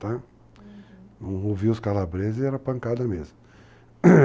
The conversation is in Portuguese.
Tá. Uhum. Não ouvia os calabreses, era pancada mesmo.